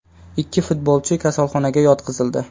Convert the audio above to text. Ikki futbolchi kasalxonaga yotqizildi .